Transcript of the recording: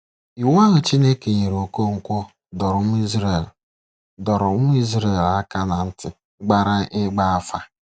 Iwu ahụ Chineke nyere Okonkwo dọrọ ụmụ Izrel dọrọ ụmụ Izrel aka na ntị gbara ịgba afa.